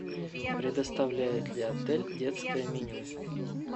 предоставляет ли отель детское меню